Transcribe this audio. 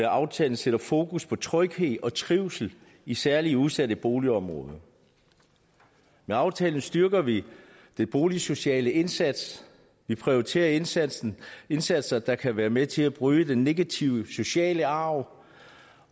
aftalen sætter fokus på tryghed og trivsel i særlig udsatte boligområder med aftalen styrker vi den boligsociale indsats vi prioriterer indsatser indsatser der kan være med til at bryde den negative sociale arv